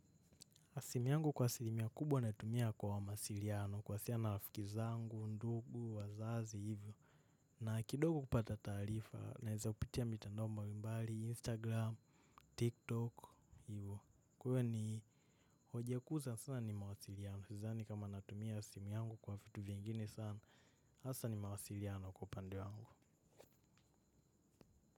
A simu yangu kwa asilimia kubwa natumia kwa mawasiliano kuwasialiana na rafiki zangu, ndugu, wazazi, hivyo. Na kidogo kupata taarifa naeza kupitia mitandao mbali, instagram, tiktok, hivyo. Kwa hiyo ni hoja kuu sawasawa ni mawasiliano. Sidhani kama natumia simu yangu kwa vitu vingini sana, hasa ni mawasiliano kwa upande wangu.